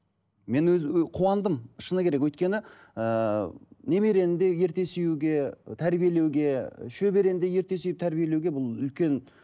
мен қуандым шыны керек өйткені ыыы немерені де ерте сүюге тәрбиелеуге шөберені де ерте сүйіп тәрбиелеуге бұл үлкен